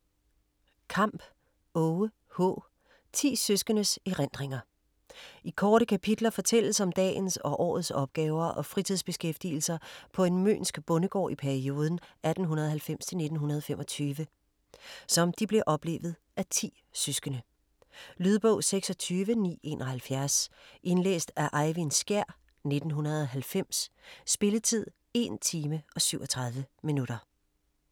Kampp, Aage H.: 10 søskendes erindringer I korte kapitler fortælles om dagens og årets opgaver og fritidsbeskæftigelser på en mønsk bondegård i perioden 1890-1925, som de blev oplevet af 10 søskende. Lydbog 26971 Indlæst af Eyvind Skjær, 1990. Spilletid: 1 time, 37 minutter.